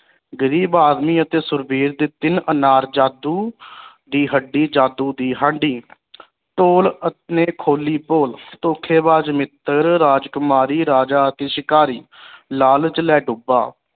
ਗਰੀਬ ਆਦਮੀ ਅਤੇ ਸੁਰਬੀਰ ਦੇ ਤਿੰਨ ਅਨਾਰਜਾਦੂ ਦੀ ਹੱਡੀ ਜਾਦੂ ਦੀ ਹਾਂਡੀ ਢੋਲ ਅਤੇ ਨੇ ਖੋਲੀ ਪੋਲ ਧੋਖੇਬਾਜ਼ ਮਿੱਤਰ ਰਾਜਕੁਮਾਰੀ ਰਾਜਾ ਅਤੇ ਸ਼ਿਕਾਰੀ ਲਾਲਚ ਲੈ ਡੁਬਾ